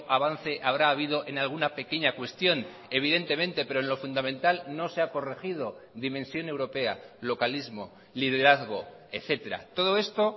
avance habrá habido en alguna pequeña cuestión evidentemente pero en lo fundamental no se ha corregido dimensión europea localismo liderazgo etcétera todo esto